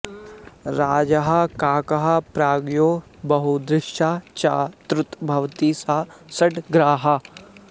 राजाह काकः प्राज्ञो बहुदृश्वा च तद्भवति स सङ्ग्राह्यः